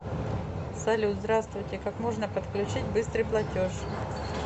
салют здраствуйте как можно подключить быстрый платеж